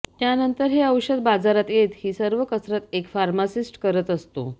त्यानंतर हे औषध बाजारात येत ही सर्व कसरत एक फार्मासिस्ट करत असतो